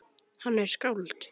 Hann er skáld.